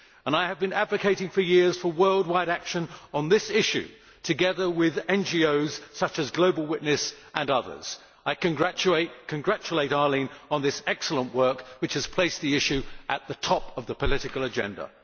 I have been advocating for years for worldwide action on this issue, together with NGOs such as Global Witness and others. I congratulate Arlene on this excellent work, which has placed the issue at the top of the political agenda.